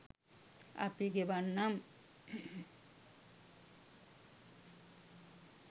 අපි ගෙවන්නම්